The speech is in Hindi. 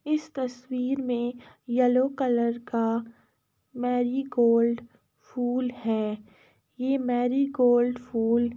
इस तस्वीर मे येलो कलर का मेरीगोल्ड फूल है। ये मेरीगोल्ड फूल --